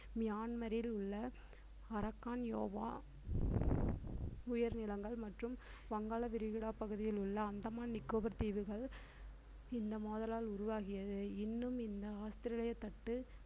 மியான்மரில் உள்ள அரக்கான் யோவா உயர்நிலங்கள் மற்றும் வங்காள விரிகுடா பகுதியில் உள்ள அந்தமான் நிக்கோபர் தீவுகள் இந்த மோதலால் உருவாகியது இன்னும் இந்த ஆஸ்திரேலியா தட்டு